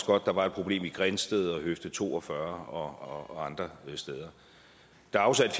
godt der var et problem i grindsted og ved høfde to og fyrre og andre steder der er afsat